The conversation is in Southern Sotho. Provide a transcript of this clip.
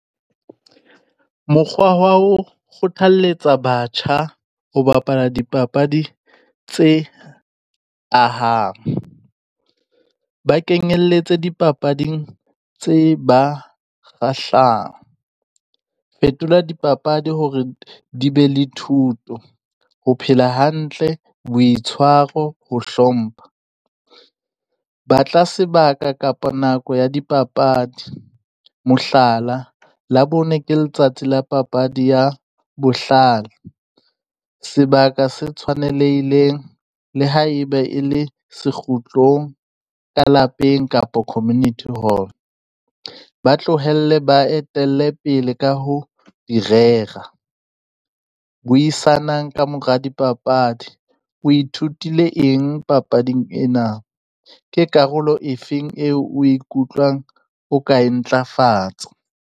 Mokgwa wa ho kgothalketsa batjha ho bapala dipapadi tse ahang, ba kenyelletse dipapading tse ba kgahlang. Fetola dipapadi hore di be le thuto, ho phela hantle, boitshwaro, ho hlompha. Batla sebaka kapa nako ya dipapadi, mohlala, Labone ke letsatsi la papadi ya bohlano, sebaka se tshwanelehileng le ha e be e le sekgutlong ka lapeng kapo community hall, b tlohelle ba etelle pele ka ho di rera. Buisanang ka mora dipapadi, o ithutile eng papading ena? Ke karolo e feng eo o e kutlwang o ka e ntlafatsa?